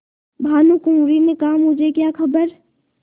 भानुकुँवरि ने कहामुझे क्या खबर